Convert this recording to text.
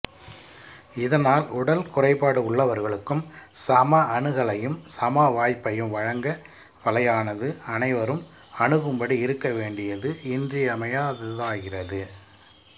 இதனால் உடல் குறைபாடு உள்ளவர்களுக்கும் சம அணுகலையும் சம வாய்ப்பையும் வழங்க வலையானது அனைவரும் அணுகும்படி இருக்க வேண்டியது இன்றியமையாததாகிறது